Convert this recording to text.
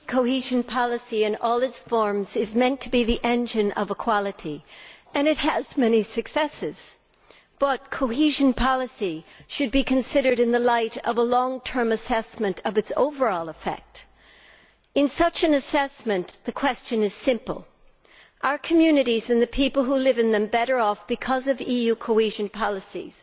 Madam President, cohesion policy in all its forms is meant to be the engine of equality, and it has had many successes. However, cohesion policy should be considered in the light of a long term assessment of its overall effect. In such an assessment, the question is simple are communities and the people who live in them better off because of EU cohesion policies